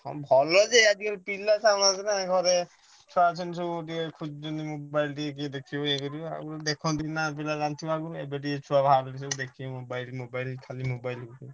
ହଁ ଭଲ ଯେ ଆଜି କାଲି ପିଲା ନା ଘରେ ଛଣା ଛଣି ଟିକେ ସବୁ ଖୋଜୁଛନ୍ତି mobile ଟିକେ କିଏ ଦେଖିବେ ଇଏ କରିବେ ଆଉ ଦେଖିନ୍ତି ପିଲା ଆଘରୁ ଏବେ ଟିକେ ଛୁଆ ବାହାରିଲେଣି ଦେଖିଏ mobile ଖାଲି mobile ହଉଛନ୍ତି।